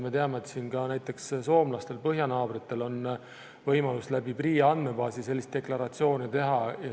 Me teame, et näiteks soomlastel, põhjanaabritel on võimalus läbi PRIA andmebaasi sellist deklaratsiooni teha.